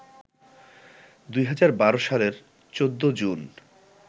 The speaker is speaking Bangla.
২০১২ সালের ১৪ জুন